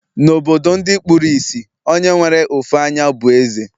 Na obodo ndi kpuru isì, Onye nwere ofu anyá bu eze